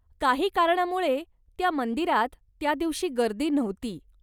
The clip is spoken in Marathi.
काही कारणामुळे त्या मंदिरात त्या दिवशी गर्दी नव्हती.